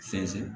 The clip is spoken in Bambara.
Fɛnsɛ